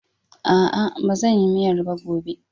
A'a, ba zan yi miyar ba gobe.